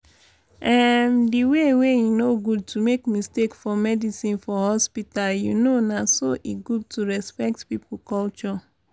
emm di way wey e no good to make mistake for medicine for hospita you know na so e good to respect pipo culture.